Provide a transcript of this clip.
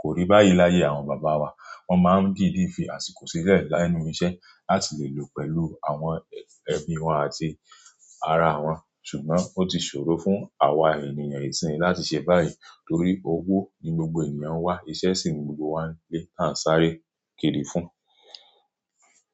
kò rí báyìí láyé àwọn bàbá wa. Wọ́n máa ń dìde fi àsìkò sílẹ̀ láénu iṣẹ́ láti lè lò pẹ̀lú àwọn ẹbi wa àti ara wa. Ṣùgbọ́n ó ti ṣòro fún àwa ènìyàn ìsinyìí láti ṣe báyìí torí owó ni gbogbo ènìyàn wá, iṣẹ́ sì ni gbogbo wa lé tán sáré kiri fún.